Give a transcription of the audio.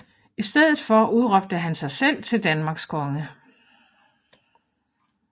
I stedet for udråbte han sig selv til Danmarks konge